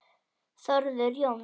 Þórður Jóns